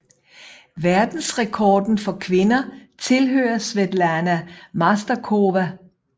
Verdensrekorden for kvinder tilhører Svetlana Masterkova